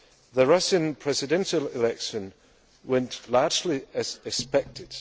The Russian presidential election went largely as expected.